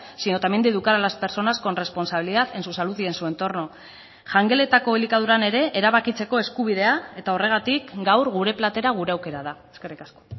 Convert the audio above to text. sino también de educar a las personas con responsabilidad en su salud y en su entorno jangeletako elikaduran ere erabakitzeko eskubidea eta horregatik gaur gure platera gure aukera da eskerrik asko